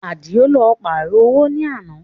Àdìó lọ pààrọ̀ owó ní àná